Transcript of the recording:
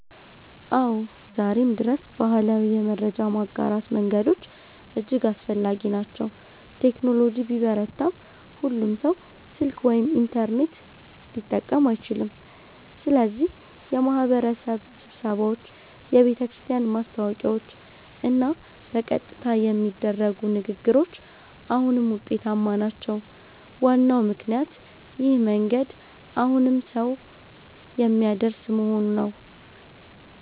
አዎ፣ ዛሬም ድረስ ባህላዊ የመረጃ ማጋራት መንገዶች እጅግ አስፈላጊ ናቸው። ቴክኖሎጂ ቢበረታም ሁሉም ሰው ስልክ ወይም ኢንተርኔት ሊጠቀም አይችልም፣ ስለዚህ የማህበረሰብ ስብሰባዎች፣ የቤተክርስቲያን ማስታወቂያዎች እና በቀጥታ የሚደረጉ ንግግሮች አሁንም ውጤታማ ናቸው። ዋናው ምክንያት ይህ መንገድ ሁሉንም ሰው የሚያደርስ መሆኑ ነው።